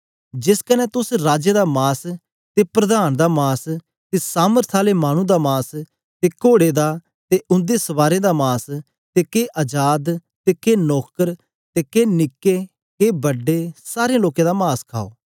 जेस कन्ने तोस राजें दा मास ते प्रधान दा मास ते सामर्थ आले मानु दा मास ते कोड़े दा ते उंदे सवारें दा मास ते के अजाद ते के नौकर के निके ते के बड्डे सारें लोकें दा मास खाओ